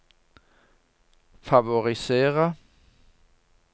favorisere